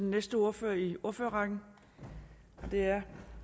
næste ordfører i ordførerrækken og det er